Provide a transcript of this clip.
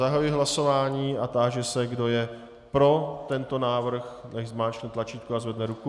Zahajuji hlasování a táži se, kdo je pro tento návrh, nechť zmáčkne tlačítko a zvedne ruku.